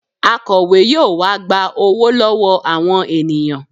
Akọ̀we yóò wá gba owó lọ́wọ́ àwọn ènìyàn